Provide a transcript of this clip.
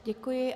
Děkuji.